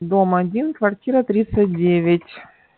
дом один квартира тридцать девять